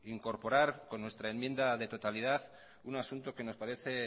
incorporar con nuestra enmienda de totalidad un asunto que me parece